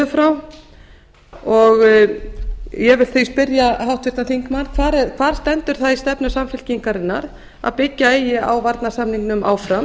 frá ég vil því spyrja háttvirtan þingmann hvar stendur það í stefnu samfylkingarinnar að byggja eigi á varnarsamningnum áfram